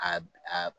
A a